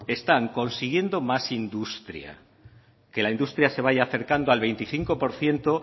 están consiguiendo más industria que la industria se vaya acercando al veinticinco por ciento